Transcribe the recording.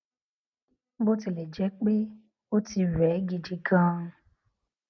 bó tilè jé pé ó ti rè é gidi ganan